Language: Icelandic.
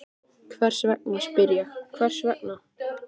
Hvers vegna, spyr ég, hvers vegna?